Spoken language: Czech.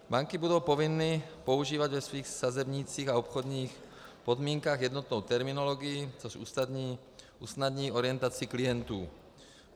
Banky budou povinny používat ve svých sazebnících a obchodních podmínkách jednotnou terminologii, což usnadní orientaci klientů.